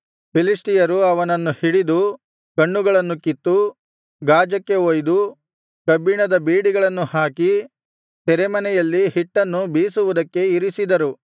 ಫಿಲಿಷ್ಟಿಯರು ಅವನನ್ನು ಹಿಡಿದು ಕಣ್ಣುಗಳನ್ನು ಕಿತ್ತು ಗಾಜಕ್ಕೆ ಒಯ್ದು ಕಬ್ಬಿಣದ ಬೇಡಿಗಳನ್ನು ಹಾಕಿ ಸೆರೆಮನೆಯಲ್ಲಿ ಹಿಟ್ಟನ್ನು ಬೀಸುವುದಕ್ಕೆ ಇರಿಸಿದರು